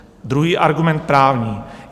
Druhý argument - právní.